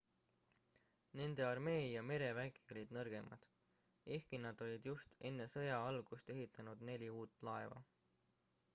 nende armee ja merevägi olid nõrgemad ehkki nad olid just enne sõja algust ehitanud neli uut laeva